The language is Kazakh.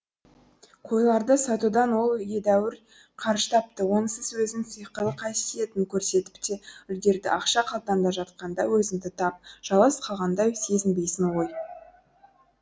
қойларды сатудан ол едәуір қаржы тапты онысы өзінің сиқырлы қасиетін көрсетіп те үлгерді ақша қалтаңда жатқанда өзіңді тап жалғыз қалғандай сезінбейсің ғой